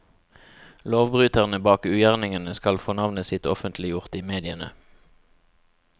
Lovbryterne bak ugjerningene skal få navnet sitt offentliggjort i mediene.